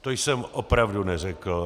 To jsem opravdu neřekl.